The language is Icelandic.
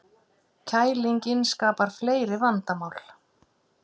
Kælingin skapar fleiri vandamál